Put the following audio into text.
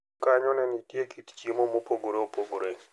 Kanyo ne nitie kit chiemo mopogore opogore.